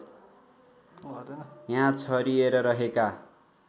यहाँ छरिएर रहेका